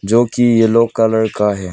जो की yellow colour का है।